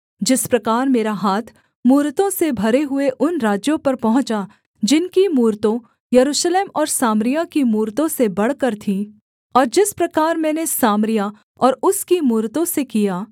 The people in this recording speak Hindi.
जिस प्रकार मेरा हाथ मूरतों से भरे हुए उन राज्यों पर पहुँचा जिनकी मूरतों यरूशलेम और सामरिया की मूरतों से बढ़कर थीं और जिस प्रकार मैंने सामरिया और उसकी मूरतों से किया